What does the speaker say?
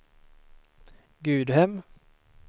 Gudhem